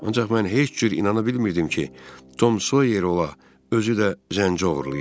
Ancaq mən heç cür inana bilmirdim ki, Tom Sawyer ola, özü də zənci oğurlaya.